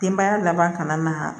Denbaya laban kana na